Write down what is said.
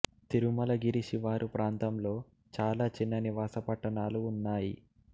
తిరుమలగిరి శివారు ప్రాంతంలో చాలా చిన్న నివాస పట్టణాలు ఉన్నాయి